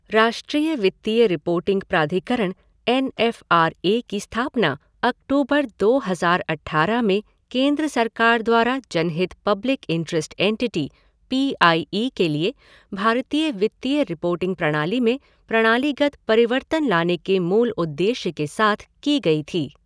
राष्ट्रीय वित्तीय रिपोर्टिंग प्राधिकरण एन एफ़ आर ए की स्थापना अक्टूबर दो हज़ार अट्ठारह में केंद्र सरकार द्वारा जनहित public interest entity P I E के लिए भारतीय वित्तीय रिपोर्टिंग प्रणाली में प्रणालीगत परिवर्तन लाने के मूल उद्देश्य के साथ की गई थी।